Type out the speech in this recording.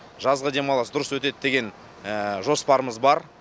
жазғы демалыс дұрыс өтеді деген жоспарымыз бар